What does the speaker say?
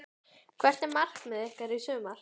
Hvert er markmið ykkar í sumar?